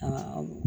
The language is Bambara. Aa